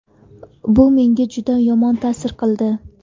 Bu menga juda yomon ta’sir qildi.